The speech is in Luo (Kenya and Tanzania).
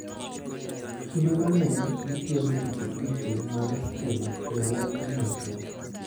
Kinde mang'eny, gitiyo gi pikipiki mag stima e wuodhe machuok.